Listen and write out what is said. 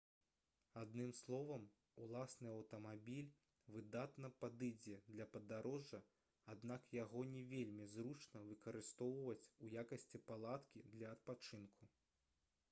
адным словам уласны аўтамабіль выдатна падыдзе для падарожжа аднак яго не вельмі зручна выкарыстоўваць у якасці палаткі для адпачынку